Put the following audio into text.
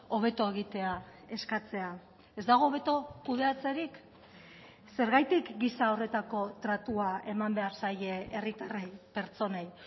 hobeto egitea eskatzea ez dago hobeto kudeatzerik zergatik gisa horretako tratua eman behar zaie herritarrei pertsonei